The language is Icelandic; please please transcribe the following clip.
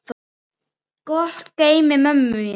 Gott geymi mömmu mína.